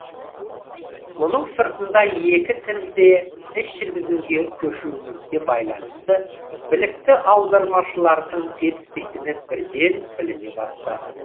мұның сыртында екі тілде іс жүргізуге көшуімізге байланысты білікті аудармашылардың жетіспейтіні бірден біліне бастады